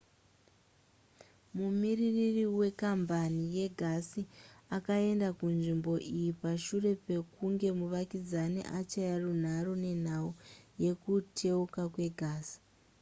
mumiririri wekambani yegasi akaenda kunzvimbo iyi pashure pekunge muvakidzani achaya runhare nenhau yekuteuka kwegasi